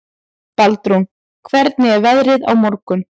Baldrún, hvernig er veðrið á morgun?